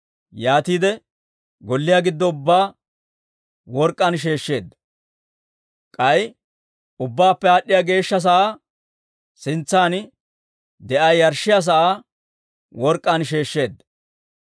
Yaatiide golliyaa giddo ubbaa work'k'aan sheeshsheedda; k'ay Ubbaappe Aad'd'iyaa Geeshsha sa'aa sintsan de'iyaa yarshshiyaa sa'aa work'k'aan sheeshsheedda.